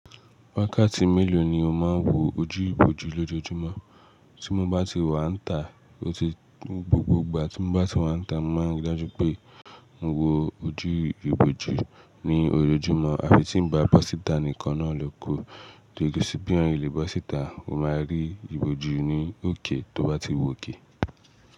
Wákàtí mélòó ni o máa ń wo ojú ìbòjú lójoojúmọ́? Tí mo bá ti wà níta, ó ti, gbogbo ìgbà tí mo bá ti wà níta, mo máa ń rí dájú pé mo wo ojú ìbòjú ní ojoojúmọ́ àfi tí n bá bọ́ síta nìkan náà ló kù. Dede sí bí èèyàn lè bọ́ síta, o máa rí ìbòjú ní òkè tó bá ti wòkè.